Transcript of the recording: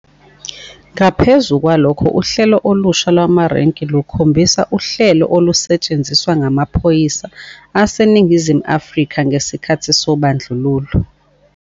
Ngaphezu kwalokho, uhlelo olusha lwamarenki lukhombisa uhlelo olusetshenziswa ngamaphoyisa aseNingizimu Afrika ngesikhathi sobandlululo.